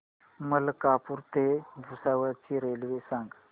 मलकापूर ते भुसावळ ची रेल्वे सांगा